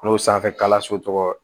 N'o sanfɛkalanso tɔgɔ